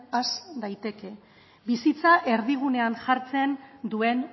has daiteke bizitza erdigunean jartzen duen